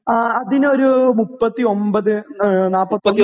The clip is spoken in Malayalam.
അതിനൊരു 39, 40